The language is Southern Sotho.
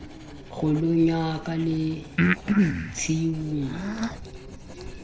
kgolong ya ka le tshiung